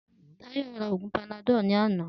Tayo ra òògùn panadol ni àná